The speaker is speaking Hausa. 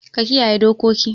Ka kiyaye dokoki.